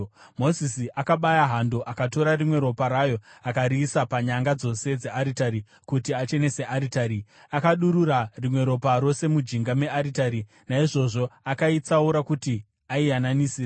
Mozisi akabaya hando akatora rimwe ropa rayo, akariisa panyanga dzose dzearitari kuti achenese aritari. Akadurura rimwe ropa rose mujinga mearitari. Naizvozvo akaitsaura kuti aiyananisire.